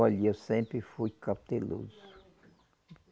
Olhe, eu sempre fui cauteloso.